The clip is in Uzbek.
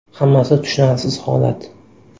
Hammasi tushunarsiz holat.